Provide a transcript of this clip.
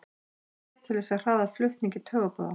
Það sér til þess að hraða flutningi taugaboða.